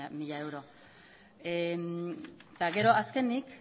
mila euro eta gero azkenik